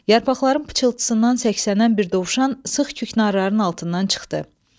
Yarpaqların pıçıltısından səksənən bir dovşan sıx küknarların altından çıxdı.